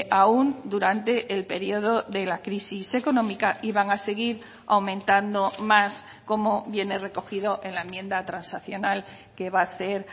aún durante el periodo de la crisis económica y van a seguir aumentando más como viene recogido en la enmienda transaccional que va a ser